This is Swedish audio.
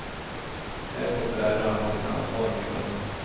Här får föräldrarna ta sitt ansvar, menar hon.